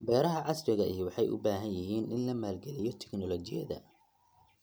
Beeraha casriga ahi waxay u baahan yihiin in la maalgeliyo tignoolajiyada.